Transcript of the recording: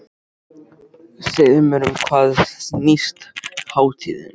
Segðu mér um hvað snýst hátíðin?